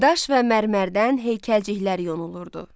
Daş və mərmərdən heykəlciklər yonulurdu.